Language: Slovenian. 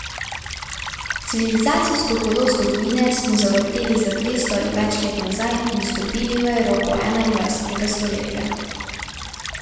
Civilizacijsko kolo zgodovine smo zavrteli za dvesto ali več let nazaj in vstopili v Evropo enaindvajsetega stoletja.